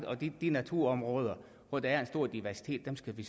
og de naturområder hvor der er en stor diversitet skal vi